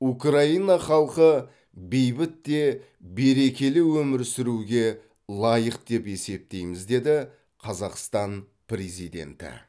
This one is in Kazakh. украина халқы бейбіт те берекелі өмір сүруге лайық деп есептейміз деді қазақстан президенті